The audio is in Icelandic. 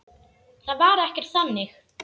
Það var ekkert þannig.